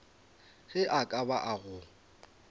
ge e ka ba go